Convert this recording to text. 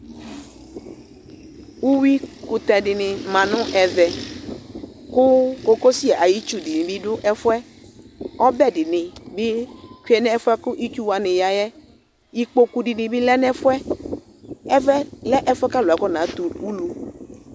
Uwi kutɛ dini maa nu ɛvɛ Ku cocosi ayi itchu dini bi du ɛfuɛ Ɔɓɛ dini bi tchué nu ɛfuɛ ku itchuwani yayɛ Ipmkpokpu dini bi lɛnu ɛfuɛ Ɛʋɛlɛ ɛfuɛ ka alu awɔna tɛ ulu